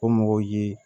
O mɔgɔw ye